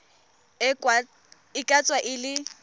e ka tswa e le